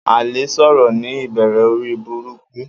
Aile soro ni ibere ori buruku.